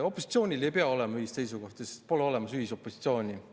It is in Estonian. Opositsioonil ei pea olema ühist seisukohta, sest pole olemas ühisopositsiooni.